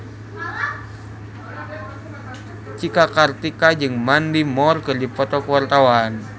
Cika Kartika jeung Mandy Moore keur dipoto ku wartawan